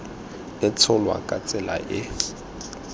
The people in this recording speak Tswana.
e tsholwa ka tsela e